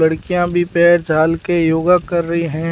लड़कियां भी पैर झाल के योगा कर रहे हैं।